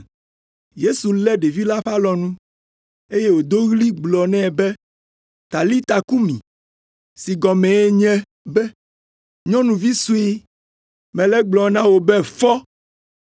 Yesu lé ɖevi la ƒe alɔnu, eye wòdo ɣli gblɔ nɛ be “Talita kumi!” (si gɔmee nye be, “Nyɔnuvi sue, mele egblɔm na wò be fɔ!”).